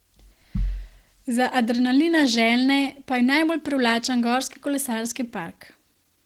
Za adrenalina željne pa je najbolj privlačen gorski kolesarski park.